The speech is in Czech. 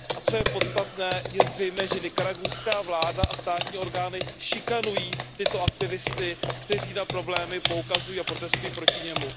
A co je podstatné, je zřejmé, že nikaragujská vláda a státní orgány šikanují tyto aktivisty, kteří na problémy poukazují a protestují proti nim.